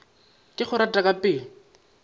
ke go rata ka pelo